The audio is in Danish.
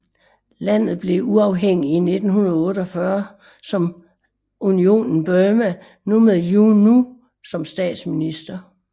Landet blev uafhængigt i 1948 som Unionen Burma med U Nu som statsminister